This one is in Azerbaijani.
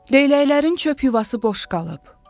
Leyləklərin çöp yuvası boş qalıb.